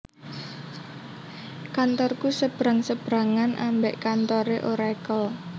Kantorku sebrang sebrangan ambek kantore Oracle